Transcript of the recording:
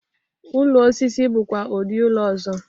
Ụlọ osisi bụkwa udị ụlọ ọzọ.